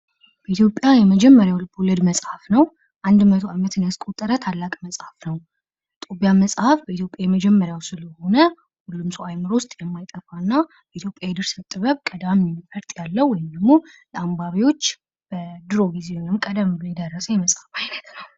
በኢትዮጵያ የመጀመሪያው ልቦለድ መፅሐፍ ነው። 100 ዓመት ያስቆጠረ ታላቅ መጽሐፍ ነው። ጦቢያ መጽሐፍ በኢትዮጵያ የመጀመሪያው ስለሆነ፤ ሁሉም ሰው አይምሮ ውስጥ የማይጠፋ እና ኢትዮጵያ የድርሰት ጥበብ ቀዳሚ ፈርጥ ያለው ውይንም ድግሞ ለአንባቢዎች በድሮ ጊዜ ወይም ቀደም ብሎ የደረሰ የመጽሐፍ ዓይነት ነው።